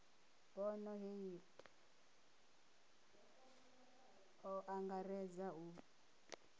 bono hei o angaredza u